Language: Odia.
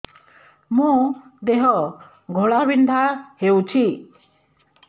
ମୋ ଦେହ ଘୋଳାବିନ୍ଧା ହେଉଛି